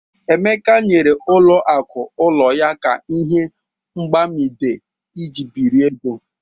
Emeka nyere ụlọ aku ụlọ ya ka ihe agbamibe iji biri ego.